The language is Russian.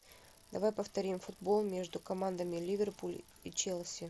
давай повторим футбол между командами ливерпуль и челси